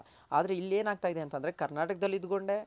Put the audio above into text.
ಆದ್ರೆ ಇಲ್ ಏನ್ ಆಗ್ತಾ ಇದೆ ಅಂತಂದ್ರೆ